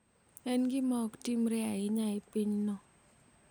En gima ok timre ahinya e pinyno.